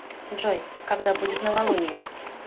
джой когда будет новолунье